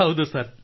ಹೌದು ಸರ್